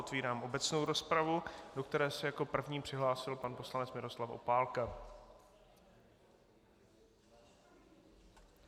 Otevírám obecnou rozpravu, do které se jako první přihlásil pan poslanec Miroslav Opálka.